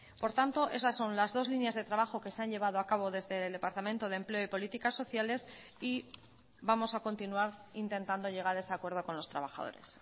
por tanto esas son las dos líneas de trabajo que se han llevado acabo desde el departamento de empleo y políticas sociales y vamos a continuar intentando llegar a ese acuerdo con los trabajadores